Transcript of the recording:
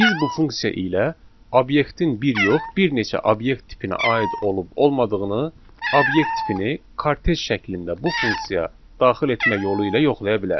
Biz bu funksiya ilə obyektin bir yox, bir neçə obyekt tipinə aid olub-olmadığını, obyekt tipini kortec şəklində bu funksiya daxil etmək yolu ilə yoxlaya bilərik.